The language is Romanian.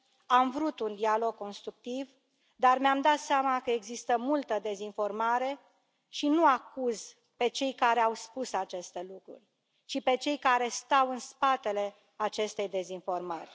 Am vrut un dialog constructiv, dar mi am dat seama că există multă dezinformare și nu acuz pe cei care au spus aceste lucruri, ci pe cei care stau în spatele acestei dezinformări.